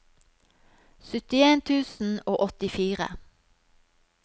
syttien tusen og åttifire